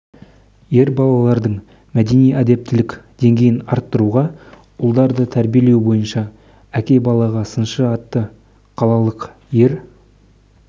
ер балалардың мәдени-әдептілік деңгейін арттыруға ұлдарды тәрбиелеу бойынша әке балаға сыншы атты қалалық ер